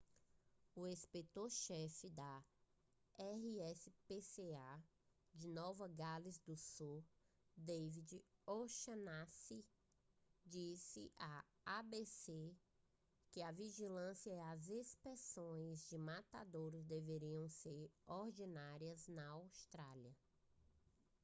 o inspetor-chefe da rspca de nova gales do sul david o'shannessy disse à abc que a vigilância e as inspeções de matadouros deveriam ser ordinárias na austrália